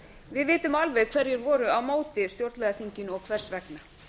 við vitum alveg hverjir voru á móti stjórnlagaþinginu og hvers vegna